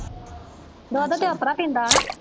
ਦੁੱਧ ਤੇ ਓਪਰਾ ਪੀਂਦਾ ਹਨਾ